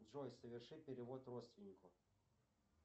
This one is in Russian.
джой соверши перевод родственнику